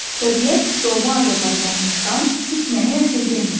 Təbiət doğma Azərbaycanımızdan heç nəyi əsirgəməyib.